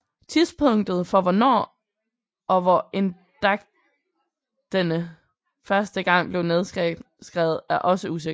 Tidspunktet for hvornår og hvor eddadigtene første gang blev nedskrevet er også usikkert